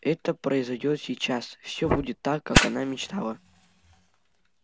это произойдёт сейчас всё будет так как она мечтала